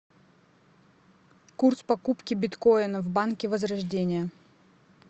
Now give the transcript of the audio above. курс покупки биткоина в банке возрождение